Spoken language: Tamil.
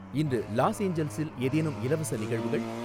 இன்று லாஸ் ஏஞ்சல்ஸில் ஏதேனும் இலவச நிகழ்வுகள்